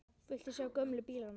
Viltu sjá gömlu bílana?